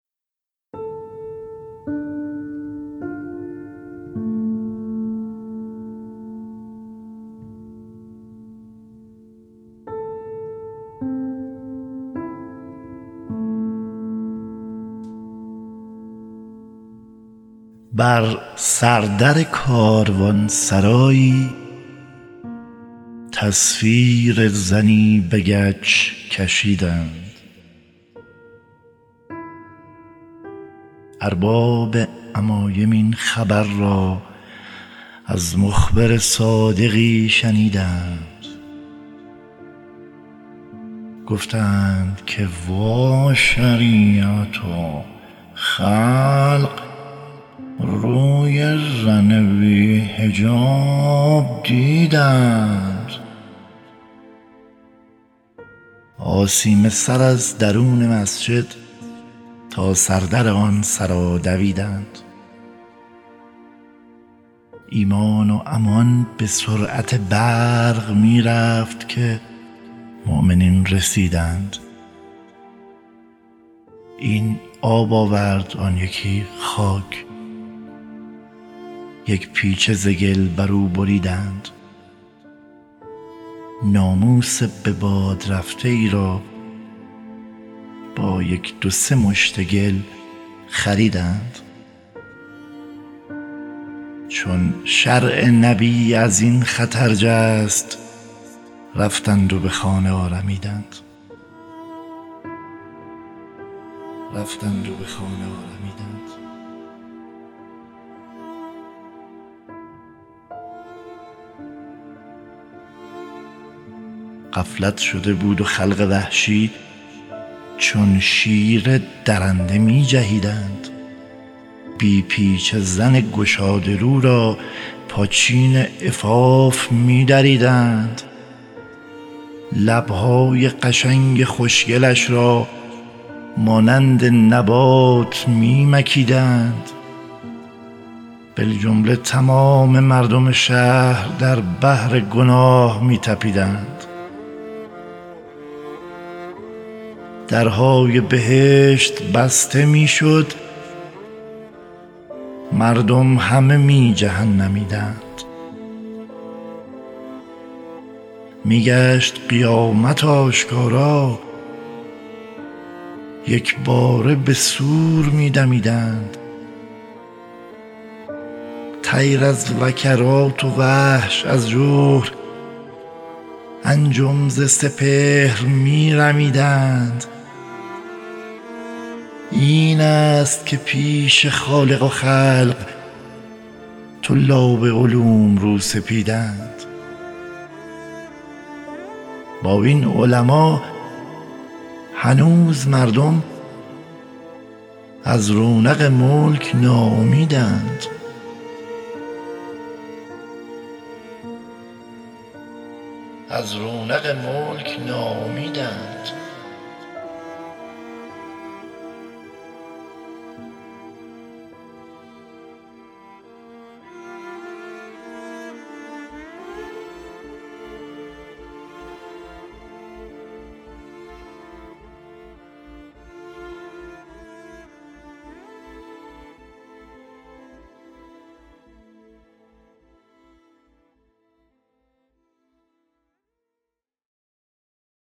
بر سردر کاروان سرایی تصویر زنی به گچ کشیدند ارباب عمایم این خبر را از مخبر صادقی شنیدند گفتند که وا شریعتا خلق روی زن بی نقاب دیدند آسیمه سر از درون مسجد تا سردر آن سرا دویدند ایمان و امان به سرعت برق می رفت که مؤمنین رسیدند این آب آورد آن یکی خاک یک پیچه ز گل بر او بریدند ناموس به باد رفته ای را با یک دو سه مشت گل خریدند چون شرع نبی از این خطر جست رفتند و به خانه آرمیدند غفلت شده بود و خلق وحشی چون شیر درنده می جهیدند بی پیچه زن گشاده رو را پاچین عفاف می دریدند لبهای قشنگ خوشگلش را مانند نبات می مکیدند بالجمله تمام مردم شهر در بحر گناه می تپیدند درهای بهشت بسته میشد مردم همه می جهنمیدند می گشت قیامت آشکارا یکباره به صور می دمیدند طیر از وکرات و وحش از جحر انجم ز سپهر می رمیدند این است که پیش خالق و خلق طلاب علوم رو سفیدند با این علما هنوز مردم از رونق ملک ناامیدند